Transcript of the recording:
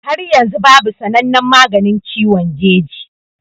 Har yanzu babu sanannen maganin ciwon jeji